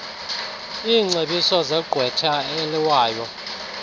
iingcebiso zegqwetha eliwayo